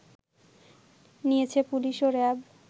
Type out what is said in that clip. নিয়েছে পুলিশ ও র‍্যাব